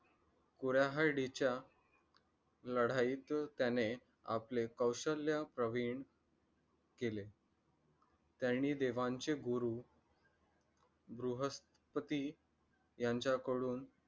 कुऱ्हाडीच्या लढाईत त्याने आपले कौशल्य प्रवीण केले. त्यांनी देवांचे गुरु बृहस्पती यांचा कडून